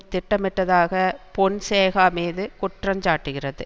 திட்டமிட்டதாக பொன்சேகா மீது குற்றஞ்சாட்டுகிறது